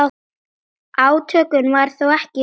Átökum var þó ekki lokið.